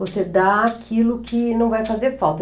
Você dá aquilo que não vai fazer falta.